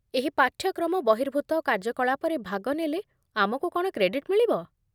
ଏହି ପାଠ୍ୟକ୍ରମ ବହିର୍ଭୂତ କାର୍ଯ୍ୟକଳାପରେ ଭାଗ ନେଲେ ଆମକୁ କ'ଣ କ୍ରେଡିଟ୍ ମିଳିବ?